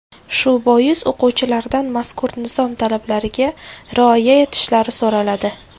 Shu bois o‘quvchilardan mazkur nizom talablariga rioya etishlari so‘raladi.